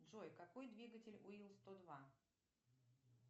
джой какой двигатель у ил сто два